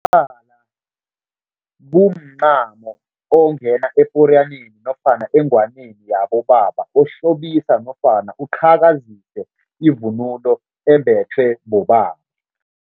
Umkhala kumncamo ongena eporiyaneni nofana engwaneni yabobaba, ohlobisa nofana uqhakazise ivunulo embethwe bobaba.